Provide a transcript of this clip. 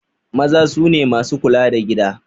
Maza sune masu kula da gida